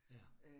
Ja